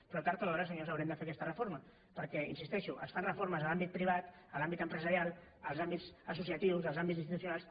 però tard o d’hora senyors haurem de fer aquesta reforma perquè hi insisteixo es fan reformes en l’àmbit privat en l’àmbit empresarial en els àmbits associatius en els àmbits institucionals